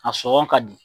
A sɔngɔ ka di